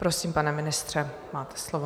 Prosím, pane ministře, máte slovo.